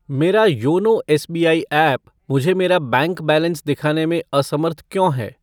मेरा YONO SBI app मुझे मेरा बैंक बैलेंस दिखाने में असमर्थ क्यों है?